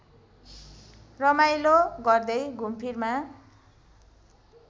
रमाइलो गर्दै घुमफिरमा